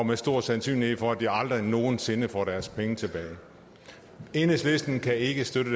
med stor sandsynlighed for at de aldrig nogen sinde får deres penge tilbage enhedslisten kan ikke støtte